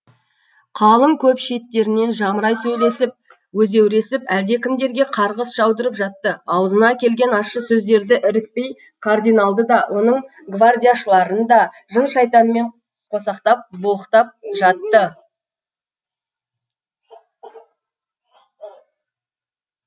қалың көп шеттерінен жамырай сөйлесіп өзеуресіп әлдекімдерге қарғыс жаудырып жатты аузына келген ащы сөздерді ірікпей кардиналды да оның гвардияшыларын да жын шайтанмен қосақтап боқтап жатты